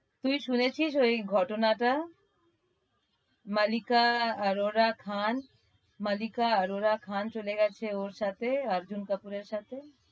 তুই শুনেছিস ঐ ঘটনা টা? মালিকা আরোরা খান মালিকা আরোরা খান চলে গেছে ওর সাথে আর্জুন কাপুরের সাথে।